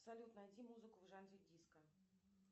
салют найди музыку в жанре диско